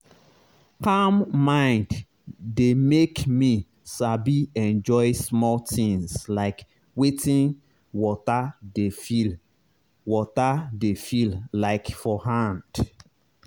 calm mind dey make me sabi enjoy small things like wetin water dey feel water dey feel like for hand.